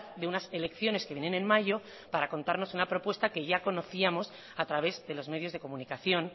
de unas elecciones que vienen en mayo para contarnos una propuesta que ya conocíamos a través de los medios de comunicación